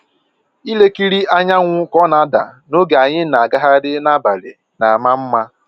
Ilekiri anyanwụ ka ọ na-ada n'oge anyị na-agagharị n'abalị na-ama mma